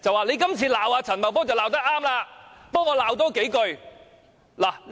你今次罵陳茂波罵得對，替我多罵數句"。